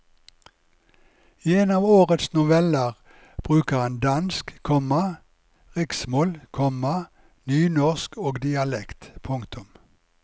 I en av årets noveller bruker han dansk, komma riksmål, komma nynorsk og dialekt. punktum